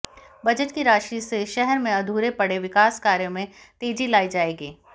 budget की राशि से शहर में अधूरे पड़े विकास कार्यों में तेजी लायी जायेगी